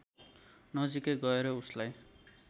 नजीकै गएर उसलाई